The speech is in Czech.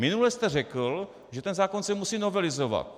Minule jste řekl, že ten zákon se musí novelizovat.